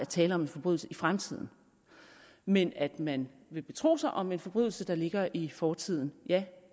tale om forbrydelser i fremtiden men at man vil betro sig om en forbrydelse der ligger i fortiden